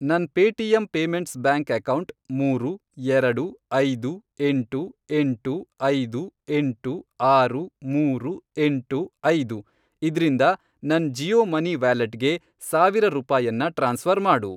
ನನ್ Paytm payments bank account, ಮೂರು, ಎರಡು, ಐದು, ಎಂಟು, ಎಂಟು, ಐದು, ಎಂಟು, ಆರು, ಮೂರು, ಎಂಟು, ಐದು, ಇದ್ರಿಂದ ನನ್ ಜಿಯೋ ಮನಿ ವ್ಯಾಲೆಟ್ಗೆ ಸಾವಿರ ರೂಪಾಯನ್ನ ಟ್ರಾನ್ಸ್ಫ಼ರ್ ಮಾಡು